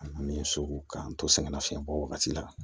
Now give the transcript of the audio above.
An n'an ye so k'an to sɛgɛnna fiɲɛbɔ wagati la